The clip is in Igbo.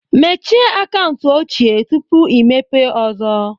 Mechie akaụntụ ochie tupu imepee ọzọ